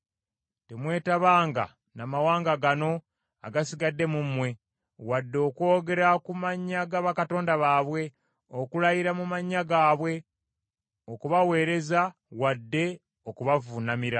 Temwetabanga n’amawanga gano agasigadde mu mmwe, wadde okwogera ku mannya ga bakatonda baabwe, okulayira mu mannya gaabwe okubaweereza wadde okubavuunamira.